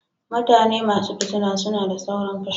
mutane masu fitina suna da sauron fushi.